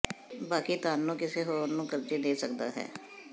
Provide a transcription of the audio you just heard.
ਬਾਕੀ ਧਨ ਨੂੰ ਕਿਸੇ ਹੋਰ ਨੂੰ ਕਰਜ਼ੇ ਦੇ ਸਕਦਾ ਹੈ